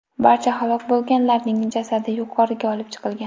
Barcha halok bo‘lganlarning jasadi yuqoriga olib chiqilgan.